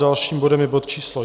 Dalším bodem je bod číslo